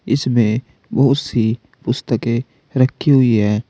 इसमें बहुत सी पुस्तके रखी हुई है।